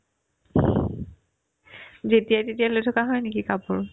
যেতিয়াই তেতিয়াই লৈ থকা হয় নেকি কাপোৰ